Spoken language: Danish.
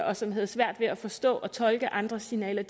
og som havde svært ved at forstå og tolke andres signaler